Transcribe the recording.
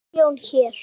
Milljón hér.